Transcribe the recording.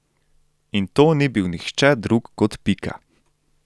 In to ni bil nihče drug kot Pika.